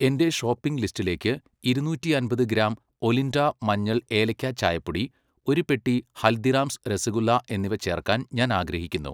എന്റെ ഷോപ്പിംഗ് ലിസ്റ്റിലേക്ക് ഇരുനൂറ്റി അമ്പത് ഗ്രാം ഒലിൻഡ മഞ്ഞൾ ഏലക്ക ചായപ്പൊടി, ഒരു പെട്ടി ഹൽദിറാംസ് രസഗുല്ല എന്നിവ ചേർക്കാൻ ഞാൻ ആഗ്രഹിക്കുന്നു.